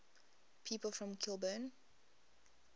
people from kilburn